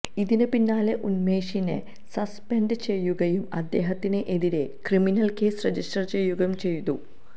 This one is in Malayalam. ഇതിന് പിന്നാലെ ഉന്മേഷിനെ സസ്പെന്ഡ് ചെയ്യുകയും അദ്ദേഹത്തിന് എതിരെ ക്രിമിനല് കേസ് രജിസ്റ്റര് ചെയ്യുകയും ചെയ്തു